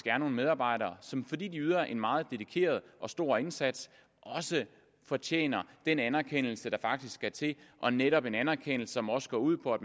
er nogle medarbejdere som fordi de yder en meget dedikeret stor indsats også fortjener den anerkendelse der faktisk skal til og netop en anerkendelse som også går ud på at